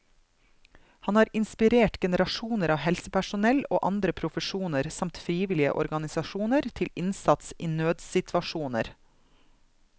Han har inspirert generasjoner av helsepersonell og andre profesjoner samt frivillige organisasjoner til innsats i nødssituasjoner.